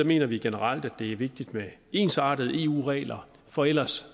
mener vi generelt at det er vigtigt med ensartede eu regler for ellers